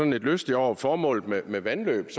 lidt lystig over formålet med vandløb